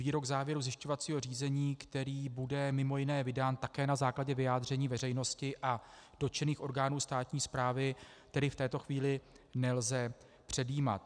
Výrok závěrů zjišťovacího řízení, který bude mimo jiné vydán také na základě vyjádření veřejnosti a dotčených orgánů státní správy, tedy v této chvíli nelze předjímat.